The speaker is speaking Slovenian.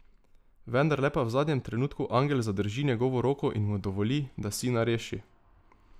Vendarle pa v zadnjem trenutku angel zadrži njegovo roko in mu dovoli, da sina reši.